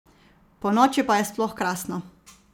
Ponoči pa je sploh krasno!